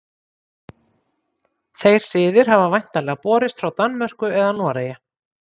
Þeir siðir hafa væntanlega borist frá Danmörku eða Noregi.